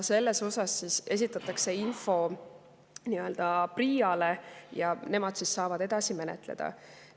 Selle kohta esitatakse info PRIA‑le ja nemad saavad edasi menetleda.